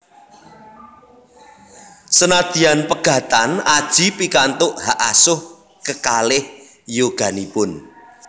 Senadyan pegatan Adjie pikantuk hak asuh kekalih yoganipun